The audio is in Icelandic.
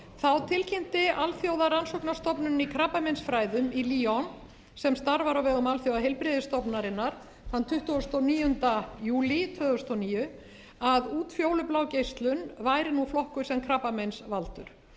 þá tilkynnti alþjóðlega rannsóknarstofnunin í krabbameinsfræðum í lyon sem starfar á vegum alþjóðaheilbrigðismálastofnunarinnar þann tuttugasta og níunda júlí tvö þúsund og níu að útfjólublá geislun væri nú flokkuð sem krabbameinsvaldur